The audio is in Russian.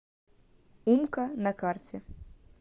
умка на карте